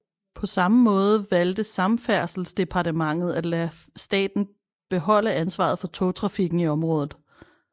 På samme måde valgte Samferdselsdepartementet at lade staten beholde ansvaret for togtrafikken i området